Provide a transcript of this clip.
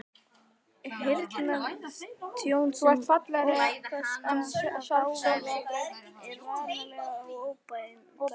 Heyrnartjón sem orsakast af hávaða er varanlegt og óbætanlegt.